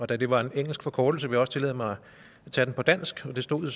da det var en engelsk forkortelse vil jeg også tillade mig at tage den på dansk og det stod